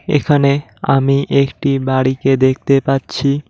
এখানে আমি একটি বাড়িকে দেখতে পাচ্ছি।